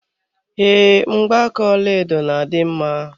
Ee, Mgbaaka ọlaedo na adị mma